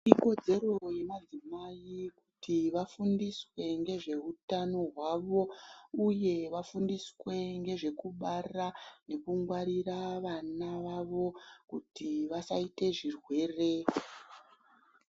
Ikodzero yemadzimai kuti vafundiswe ngezveutano hwawo uye kuti vafundiswe ngezvekubara uye kuti vangwarire vana vawo kuti vasaite zvirwere.